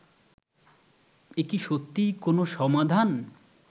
এ কি সত্যিই কোনও সমাধান